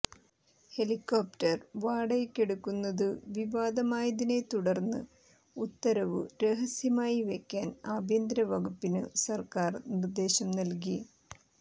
helicopter വാടകയ്ക്കെടുക്കുന്നതു വിവാദമായതിനെത്തുടർന്ന് ഉത്തരവു രഹസ്യമായി വയ്ക്കാൻ ആഭ്യന്തര വകുപ്പിനു സർക്കാർ നിർദ്ദേശം നൽകി